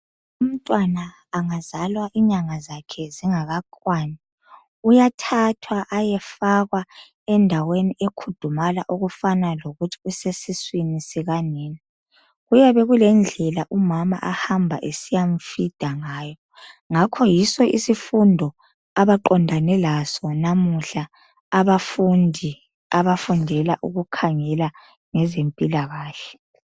Umntwana angazalwa inyanga zakhe zingakakwani. Uyathathwa ayefakwa endaweni ekhudumala okufana lokuthi usesiswini sikanina. Kuyabe kulendlela umama ahamba esiyamfeeder ngayo ngakho yiso isifundo abaqondane laso namuhla abafundi abafundela ukukhangela ngezempila kahle.